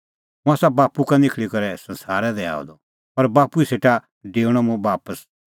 हुंह आसा बाप्पू का निखल़ी करै संसारा दी आअ द और बाप्पू ई सेटा डेऊणअ मुंह बापस